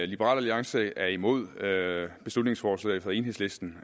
liberal alliance er imod beslutningsforslaget fra enhedslisten